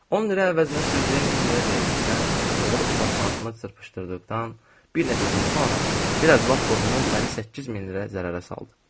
10 lirə əvəzinə sürücüyə 1000 lirə verdikdən, oğru portmanatımı çırpışdırdıqdan bir neçə gün sonra lap qohumum məni 8000 lirə zərərə saldı.